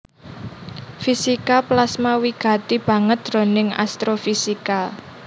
Fisika plasma wigati banget jroning astrofisika